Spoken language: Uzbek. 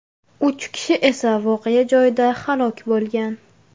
Uch kishi esa voqea joyida halok bo‘lgan.